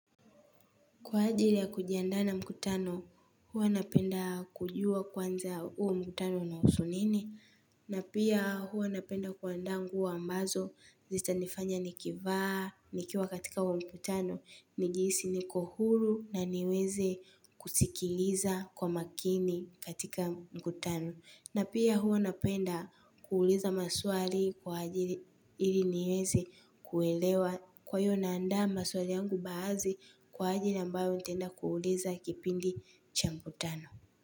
Kwa ajili ya kujiandaa na mkutano, huwa napenda kujua kwanza huo mkutano unahusu nini. Na pia huwa napenda kuandaa nguo ambazo zitanifanya nikivaa, nikiwa katika huo mkutano. Nijihisi niko huru na niweze kusikiliza kwa makini katika mkutano. Na pia huwa napenda kuuliza maswali kwa ajili ili nieze kuelewa. Kwa hiyo naandaa maswali yangu baazi kwa ajili ambayo nitaenda kuuliza kipindi cha mkutano.